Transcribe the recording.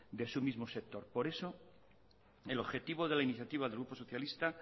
de su mismo sector por eso el objetivo de la iniciativa del grupo socialista